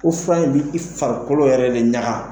Ko fura in b'i i farikolo yɛrɛ de ɲaga